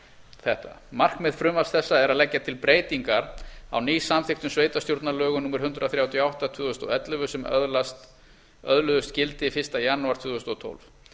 þetta markmið frumvarps þessa er að leggja til breytingar á nýsamþykktum sveitarstjórnarlögum númer hundrað þrjátíu og átta tvö þúsund og ellefu sem öðluðust gildi fyrsta janúar tvö þúsund og tólf